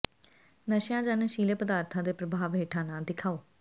ਨਸ਼ਿਆਂ ਜਾਂ ਨਸ਼ੀਲੇ ਪਦਾਰਥਾਂ ਦੇ ਪ੍ਰਭਾਵ ਹੇਠਾਂ ਨਾ ਦਿਖਾਓ